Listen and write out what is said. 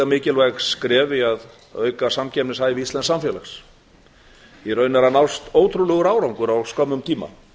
mikilvæg skref í að auka samkeppnishæfi íslensks samfélags í raun er að nást ótrúlegur árangur á skömmum tíma